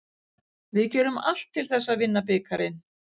Við gerum allt til þess að vinna bikarinn.